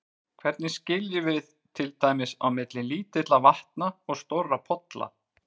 Hvernig skiljum við til dæmis á milli lítilla vatna og stórra polla?